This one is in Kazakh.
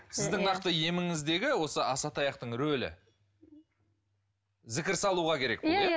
сіздің нақты еміңіздегі осы асатаяқтын рөлі зікір салуға керек иә иә